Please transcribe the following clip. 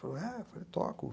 Falei, toco.